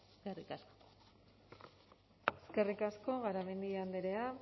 eskerrik asko eskerrik asko garamendi andrea